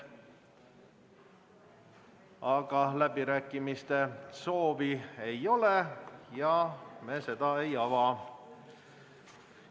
Aga läbirääkimiste soovi ei ole ja me neid ei ava.